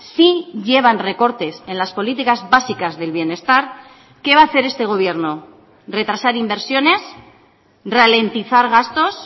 sí llevan recortes en las políticas básicas del bienestar qué va a hacer este gobierno retrasar inversiones ralentizar gastos